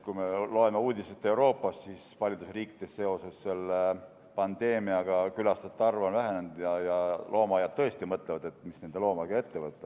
Kui me loeme uudiseid Euroopast, siis paljudes riikides on seoses pandeemiaga külastajate arv vähenenud ja loomaaiad tõesti mõtlevad, mis oma loomadega ette võtta.